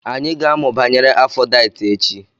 Anyị ga-amụ banyere Afodaịt echi.